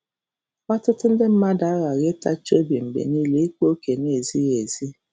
Ọtụtụ nde mmadụ aghaghị ịtachi obi mgbe nile ịkpa ókè na-ezighị ezi.